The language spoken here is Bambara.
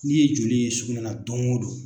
N'i ye joli ye sugunɛ la don o don.